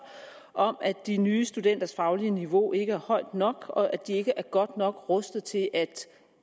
om at de nye studenters faglige niveau ikke er højt nok og at de ikke er godt nok rustet til at